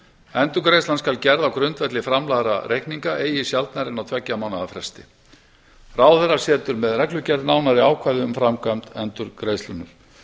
endurgreiðslan skal gerð á grundvelli framlagðra reikninga eigi sjaldnar en á tveggja mánaða fresti ráðherra setur með reglugerð nánari ákvæði um framkvæmd endurgreiðslunnar